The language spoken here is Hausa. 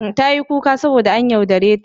Tayi kuka saboda an yaudare ta.